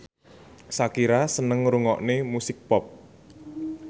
Shakira seneng ngrungokne musik pop